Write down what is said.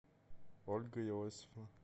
ольга иосифовна